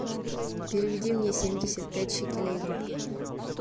переведи мне семьдесят пять шекелей в рубли